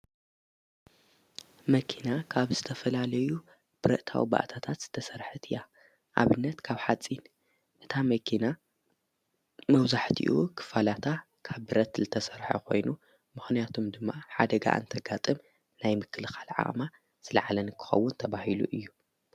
መኪና ካብ ዝተፈላለዩ ብረእታዊ ባኣታታት ዝተሠርሕት እያ ኣብነት ካብ ሓጺን ነታ መኪና መውዙሕቲኡ ኽፋላታ ካብ ብረት ልተሠርሐ ኾይኑ ምኾንያቶም ድማ ሓደጋ እንተጋጥም ናይ ምክልኻል ዓቅማማ ልለዓለን ክኸውን ተብሂሉ እዩ።